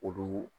Olu